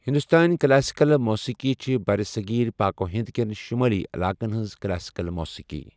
ہندوستٲنی کلاسیکل موسیقی چھِ برصغیر پاک و ہند کٮ۪ن شمٲلی علاقَن ہنٛز کلاسیکل موسیقی۔